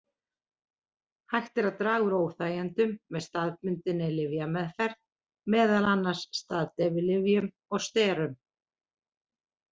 Hægt er að draga úr óþægindunum með staðbundinni lyfjameðferð, meðal annars staðdeyfilyfjum og sterum.